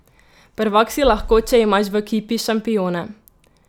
Prvak si lahko, če imaš v ekipi šampione.